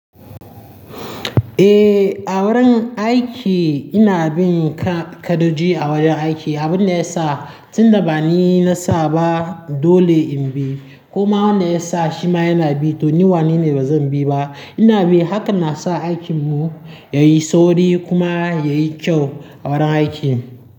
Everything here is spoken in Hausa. Eh, a wurin aiki ina bin kaɗaƙoji a wajen aiki. Abin da ya sa tunda ba ni na sa ba dole in bi kuma wanda ya sa shi ma yana bi to ni wane ne bazan bi ba. Ina bi haka na sa aikin mu yayi sauri kuma yayi kyau a wurin aiki.